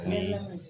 Ni